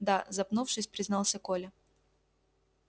да запнувшись признался коля